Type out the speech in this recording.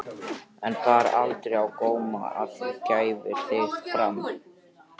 En bar aldrei á góma að þú gæfir þig fram?